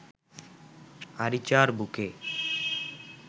আরিচার বুকে